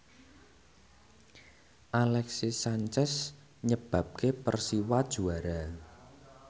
Alexis Sanchez nyebabke Persiwa juara